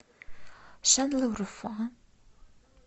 шанлыурфа